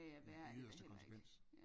I yderste konsekvens